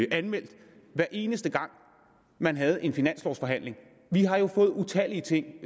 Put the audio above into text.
anmeldt hver eneste gang man havde en finanslovforhandling vi har jo fået utallige ting